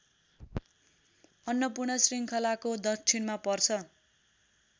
अन्नपूर्ण श्रृङ्खलाको दक्षिणमा पर्छ